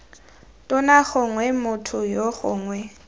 tona gongwe motho yoo gongwe